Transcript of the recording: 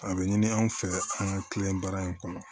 A bɛ ɲini anw fɛ an ka kilen baara in kɔnɔ